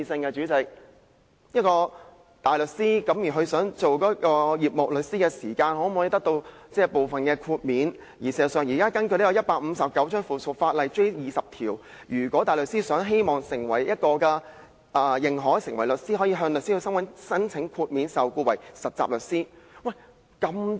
關於大律師轉為事務律師時可否得到部分豁免，根據《實習律師規則》第20條，如果大律師希望成為認可的事務律師，可以向香港律師會申請豁免受僱為實習律師。